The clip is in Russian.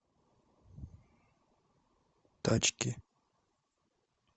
тачки